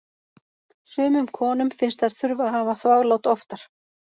Sumum konum finnst þær þurfa að hafa þvaglát oftar.